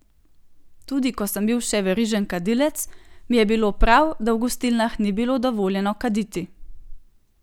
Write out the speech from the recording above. Tudi ko sem bil še verižni kadilec, mi je bilo prav, da v gostilnah ni bilo dovoljeno kaditi.